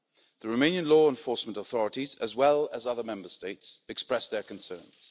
The Romanian law enforcement authorities, as well as other Member States, expressed their concerns.